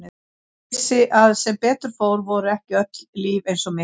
Ég vissi að sem betur fór voru ekki öll líf eins og mitt.